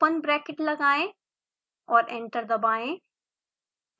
open bracket लगाएं और enter दबाएं